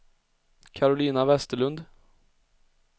Karolina Vesterlund